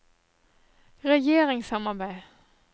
regjeringssamarbeid